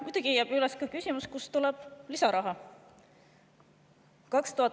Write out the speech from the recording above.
Muidugi jääb üles ka küsimus, kust tuleb lisaraha.